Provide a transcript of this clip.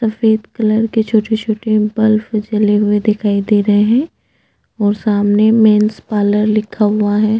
सफ़ेद कलर के छोटे - छोटे बल्ब जले हुए दिखाई दे रहे है और सामने मेन्स पार्लर लिखा हुआ है।